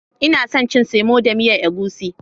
inason cin semo da miyan egusi.